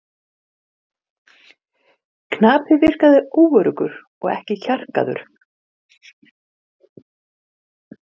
Upp til agna.